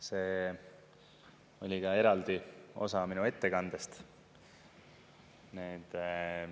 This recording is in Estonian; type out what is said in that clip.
See oli ka eraldi osa minu ettekandest.